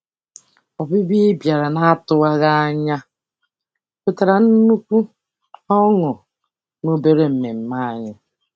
Ọbịbịa ị bịara n'atụwaghị anya wetara nnukwu ọṅụ n'obere mmemme anyị.